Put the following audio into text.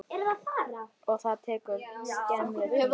Og það tekur skemmri tíma.